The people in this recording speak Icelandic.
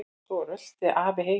Svo rölti afi heim.